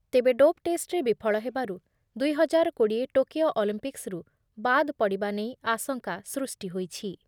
ତେବେ ଡୋପ୍‌ ଟେଷ୍ଟରେ ବିଫଳ ହେବାରୁ ଦୁଇ ହଜାର କୋଡ଼ିଏ ଟୋକିଓ ଅଲିମ୍ପିକ୍ସ୍‌ରୁ ବାଦ୍‌ପଡ଼ିବା ନେଇ ଆଶଙ୍କା ସୃଷ୍ଟି ହୋଇଛି।